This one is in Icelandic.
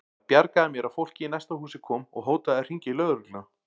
Það bjargaði mér að fólkið í næsta húsi kom og hótaði að hringja í lögregluna.